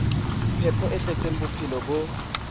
phepo e tletseng bophelo bo